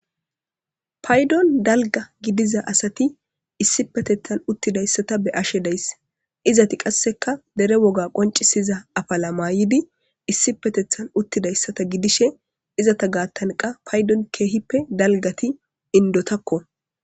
paydon dalga gidiza asati issipetethan uttidayssata beyashe days izeti qasseka dere woga qoncisiza afala maayidi issi petethan uttidayssata gidishe izeta gaattankka paydon keehippe dalgati indotakko.